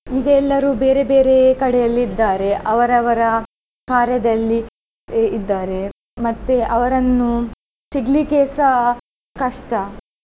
ಈಗೆಲ್ಲರೂ ಬೇರೆ ಬೇರೆ ಕಡೆಯಲ್ಲಿ ಇದ್ದಾರೆ ಅವರವರ ಕಾರ್ಯದಲ್ಲಿ ಇದ್ದಾರೆ ಮತ್ತೆ ಅವರನ್ನು ಸಿಗ್ಲಿಕ್ಕೆಸ ಕಷ್ಟ.